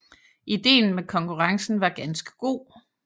Ideen med konkurrencen var ganske god